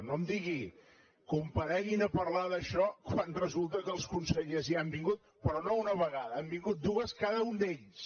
no em digui compareguin a parlar d’això quan resulta que els consellers ja han vingut però no una vegada n’han vingut dues cadascun d’ells